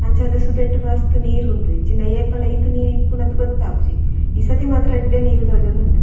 ಅಂಚಾದ್ ಸುದೆಟ್ ಮಸ್ತ್ ನೀರ್ ಉಂಡು ಇಜ್ಜಿಂಡ ಏಪಲ ಈತ್ ನೀರ್ ಇಪ್ಪುನ ಗೊತ್ತಾಪುಜಿ ಈ ಸರ್ತಿ ಮಾತ್ರ ಎಡ್ಡೆ ನೀರ್ ತೋಜೊಂದುಂಡು.